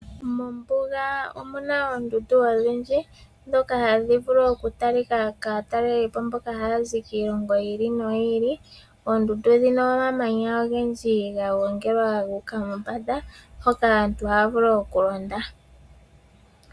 Mombuga omu na oondundu odhindji dhoka hadhi vulu oku talika kaa talelipo mboka haya zi kiilongo yi ili no yi ili. Oondundu odhina omamanya ogendji ga gongelwa guuka mombanda, hoka aantu haya vulu oku londa.